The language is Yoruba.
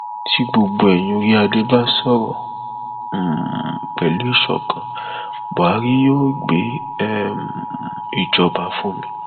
tí gbogbo eyín oríadé bá sọrọ um pẹlú ìṣọkan buhari yóò gbé um ìjọba fún mi